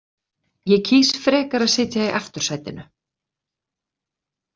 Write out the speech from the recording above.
Ég kýs frekar að sitja í aftursætinu.